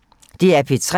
DR P3